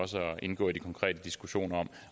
indgå i de konkrete diskussioner